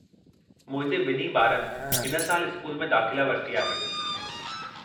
मुंहिंजे ॿिन्ही ॿारनि हिन सालु स्कूल में दाख़िला वरिती आहे।